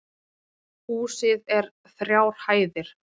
Húsið er þrjár hæðir